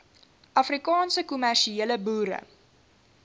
afrikaanse kommersiële boere